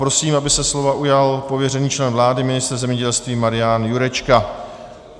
Prosím, aby se slova ujal pověřený člen vlády, ministr zemědělství Marian Jurečka.